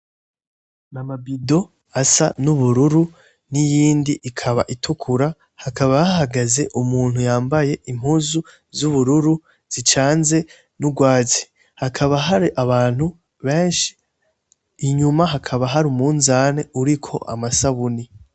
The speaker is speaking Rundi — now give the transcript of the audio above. Mamabido asa n'ubururu n'iyindi ikaba itukura hakaba ahagaze umuntu yambaye impuzu z'ubururu zicanze n'urwazi hakaba hari abantu benshi inyuma hakaba hari umunzane uriko amasabuni.